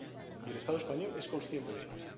Y el Estado español es consciente de ello.